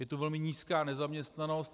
Je tu velmi nízká nezaměstnanost.